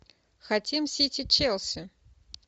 хотим сити челси